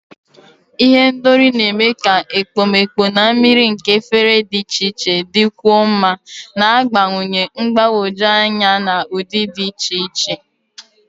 Ihendori na-eme ka ekpomeekpo na mmiri nke efere dị iche iche dịkwuo mma, na-agbakwụnye mgbagwoju anya na ụdị dị iche iche.